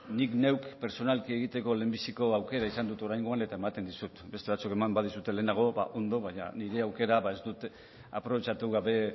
nik neuk pertsonalki egiteko lehenbiziko aukera izan dut oraingoan eta ematen dizut beste batzuek eman badizute lehenago ba ondo baina nire aukera ez dut aprobetxatu gabe